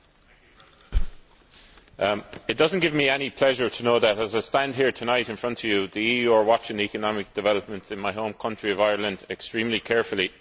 Mr President, it does not give me any pleasure to know that, as I stand here tonight in front of you, the EU is watching the economic developments in my home country of Ireland extremely carefully.